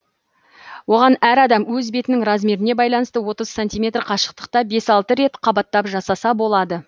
оған әр адам өз бетінің размеріне байланысты отыз сантиметр қашықтықта бес алты рет қабаттап жасаса болады